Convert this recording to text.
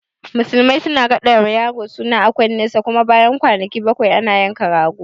Musulmai suna raɗawa yaro suna a kunnen sa, kuma bayan kwanaki bakwai ana yanka mai rago